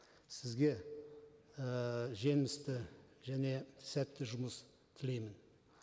сізге ііі жемісті және сәтті жұмыс тілеймін